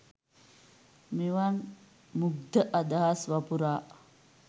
මෙවන් මුග්ධ අදහස් වපුරා